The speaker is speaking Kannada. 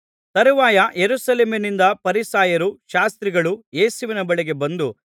ತರುವಾಯ ಯೆರೂಸಲೇಮಿನಿಂದ ಫರಿಸಾಯರೂ ಶಾಸ್ತ್ರಿಗಳೂ ಯೇಸುವಿನ ಬಳಿಗೆ ಬಂದು